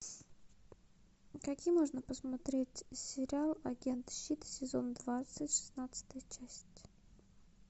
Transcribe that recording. какие можно посмотреть сериал агент щит сезон двадцать шестнадцатая часть